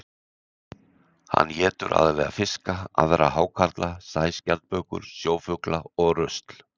Hann étur aðallega fiska, aðra hákarla, sæskjaldbökur, sjófugla og rusl.